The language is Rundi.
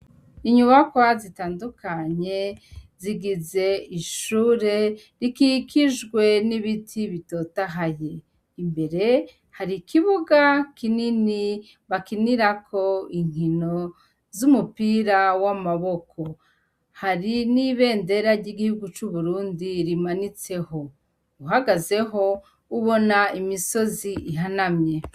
Inyubakwa zitandukanye, zigize ishure, rikikijwe n'ibiti bitotahaye. Imbere hari ikibuga kinini, bakinirako inkino z'umupira w'amaboko. Hari n'ibendera ry'igihugu c'Uburundi rimanitseho. Uhagazeho, ubona imisozi ihanamye.